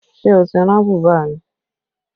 Ṣé o ti rán bùbá mi?